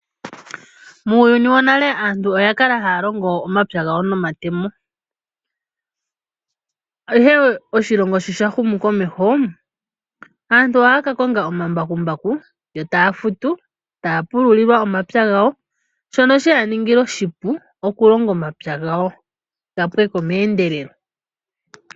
Muuyuni wonale aantu oya kala haya longo omapya gawo nomatemo, ihe oshilongo sho sha humukomeho, aantu ohaya ka konga omambakumbaku, yo taya futu taya pululilwa omapya gawo, shono she ya ningila oshipu okulonga omapya gawo ga pwe ko meendelelo.